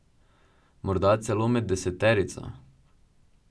Morda celo med deseterico.